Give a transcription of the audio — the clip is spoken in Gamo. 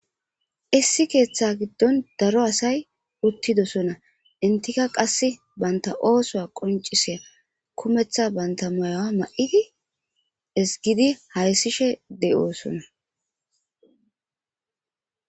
issi keeththa giddon daro asay uttidosona intika qasse banta oosoa qoncisiya kumeththa banta moyawa ma7idi isgidi hayssishe de7oosona